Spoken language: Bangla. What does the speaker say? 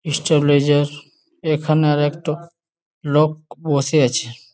ইস্টাব্লেজার এইখানে আর একটু লোক বসে আছে ।